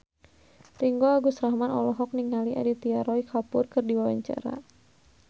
Ringgo Agus Rahman olohok ningali Aditya Roy Kapoor keur diwawancara